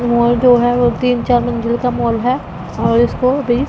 माल जो है तीन-चार मंजिल का माल है और इसको भी--